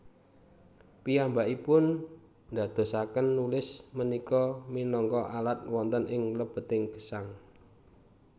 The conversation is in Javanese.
Piyambakipun ndadosaken nulis punika minangka alat wonten ing lebeting gesang